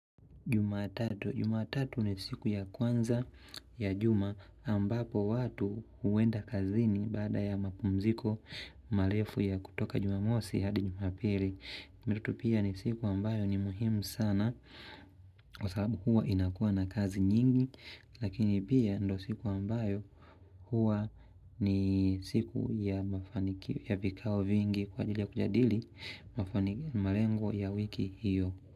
Jumatatu ni siku ya kwanza ya juma ambapo watu huenda kazini baada ya mapumziko marefu ya kutoka jumamosi hadi jumapili. Mirutu pia ni siku ambayo ni muhimu sana kwa sababu huwa inakuwa na kazi nyingi lakini pia ndo siku ambayo huwa ni siku ya vikao vingi kwa ajili ya kujadili mafani malengo ya wiki hiyo.